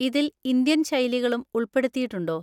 ഇതിൽ ഇന്ത്യൻ ശൈലികളും ഉൾപ്പെടുത്തിയിട്ടുണ്ടോ?